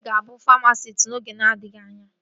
Enyi m ga-abụ famasisti n'oge na-adịghị anya